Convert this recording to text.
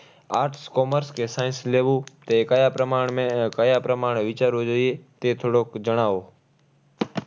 Arts, commerce કે science લેવું એ કયા પ્રમાણને, કયા પ્રમાણે વિચારવું જોઈએ, તે થોડુંક જણાવો.